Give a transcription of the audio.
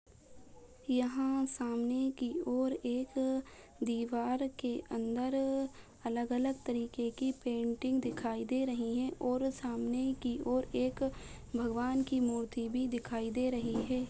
यहाँ सामने की ओर एक दीवार के अंदर अलग-अलग तरीके की पेंटिंग दिखाई दे रही है और सामने की और एक भगवान की मूर्ति भी दिखाई दे रही है।